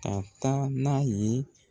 Ka taa n'a ye.